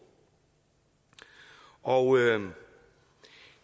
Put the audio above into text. og